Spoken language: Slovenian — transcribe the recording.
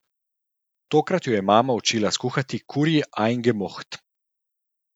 Tokrat jo je mama učila skuhati kurji ajngemoht.